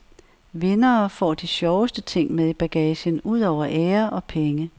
Vindere får de sjoveste ting med i bagagen ud over ære og penge.